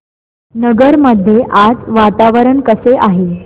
नगर मध्ये आज वातावरण कसे आहे